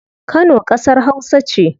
Kano kasar hausa ce